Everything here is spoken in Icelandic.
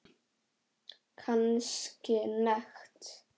Kannski nekt.